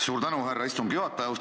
Suur tänu, härra istungi juhataja!